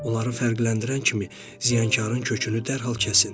Onları fərqləndirən kimi ziyankarın kökünü dərhal kəsin.